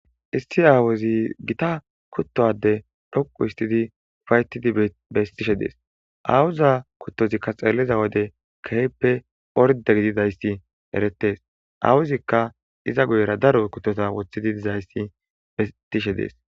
Issi aawozi gita kuttoade dhoqu histidi fayttidi bestishe dees aawuza kuttozikka xeeliza wode keeppe orde gididayssi erettes awuzikka iza guyera daro kuttota wothidi dizayssi betishe dees.